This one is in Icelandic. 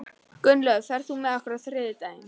Gunnlöð, ferð þú með okkur á þriðjudaginn?